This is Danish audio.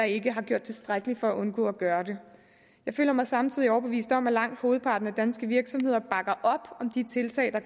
ikke har gjort tilstrækkeligt for at undgå at gøre det jeg føler mig samtidig overbevist om at langt hovedparten af danske virksomheder bakker op om de tiltag der